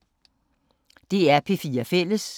DR P4 Fælles